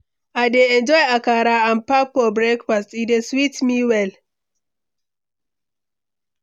I dey enjoy akara and pap for breakfast; e dey sweet me well.